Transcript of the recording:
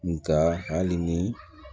Nga hali ni